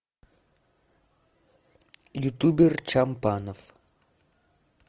ютубер чампанов